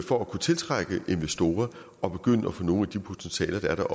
for at kunne tiltrække investorer at begynde at få nogle af de potentialer der er der